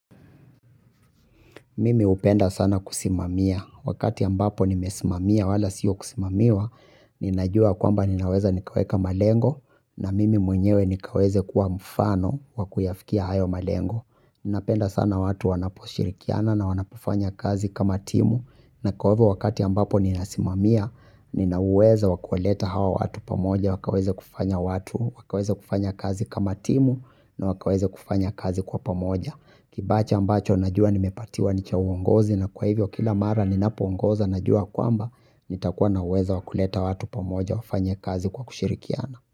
Mimi hupenda sana kusimamia. Wakati ambapo nimesimamia wala siyo kusimamiwa, ninajua kwamba ninaweza nikaweka malengo, na mimi mwenyewe nikaweza kuwa mfano wa kuyafikia hayo malengo. Ninapenda sana watu wanaposhirikiana na wanapofanya kazi kama timu, na kwa ule wakati ambapo ninasimamia, nina uweza wa kuwaleta hawa watu pamoja, wakaweza kufanya watu, wakaweze kufanya kazi kama timu, na wakaweze kufanya kazi kwa pamoja. Kibaji ambacho najua nimepatiwa ni cha uongozi na kwa hivyo kila mara ninapo ongoza najua kwamba nitakuwa na uwezo wa kuleta watu pamoja wafanye kazi kwa kushirikiana.